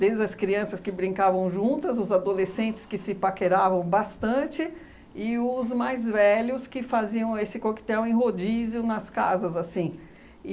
Desde as crianças que brincavam juntas, os adolescentes que se paqueravam bastante e os mais velhos que faziam esse coquetel em rodízio nas casas, assim.